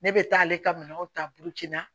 Ne bɛ taa ale ka minɛnw ta boloci na